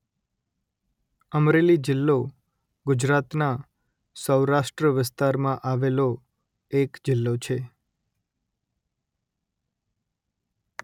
અમરેલી જિલ્લો ગુજરાતના સૌરાષ્ટ્ર વિસ્તારમાં આવેલો એક જિલ્લો છે